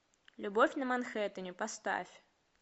любовь на манхэттене поставь